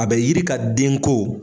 A bɛ yiri ka denko